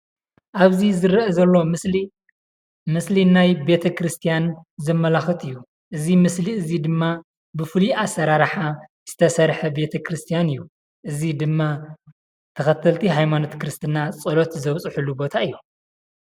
አብዚ ዝርአ ዘሎ ምሰሊ ምስሊ ናይ ቤተ ክርስትያን ዘመላክት እዩ፡፡ እዚ ምስሊ እዚ ድማ ብፍሉይ አሰራርሓ ዝተሰርሐ ቤተ ክርስትያን እዩ፡፡ እዚ ድማ ተከተልቲ ሃይማኖት ክርስትና ፀሎት ዘብፅሕሉ ቦታ እዩ፡፡